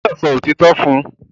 O gbódò so òtítọ fún!